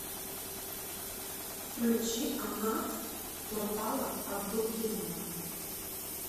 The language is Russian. включи амнат турпала абдулкеримова